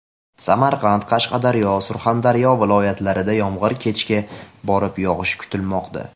Samarqand, Qashqadaryo, Surxondaryo viloyatlarida yomg‘ir kechga borib yog‘ishi kutilmoqda.